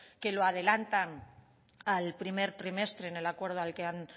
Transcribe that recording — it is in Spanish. que lo adelantan al primer trimestre en el acuerdo al que han